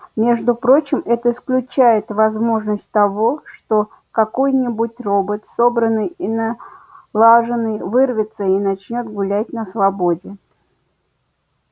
между прочим это исключает возможность того что какой-нибудь робот собранный и налаженный вырвется и начнёт гулять на свободе